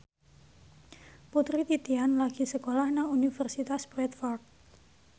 Putri Titian lagi sekolah nang Universitas Bradford